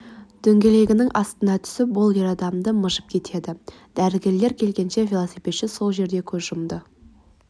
дөңгелегінің астына түсіп ол ер адамды мыжып кетеді дәрігерлер келгенше велосипедші сол жерде көз жұмды